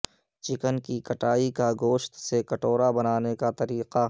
chicken کی کٹائی کا گوشت سے کٹورا بنانے کا طریقہ